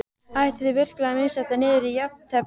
Ætlið þið virkilega að missa þetta niður í jafntefli?